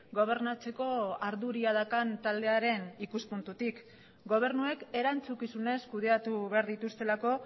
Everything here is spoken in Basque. gobernatzeko ardura daukan taldearen ikuspuntutik gobernuek erantzukizunez kudeatu behar dituztelako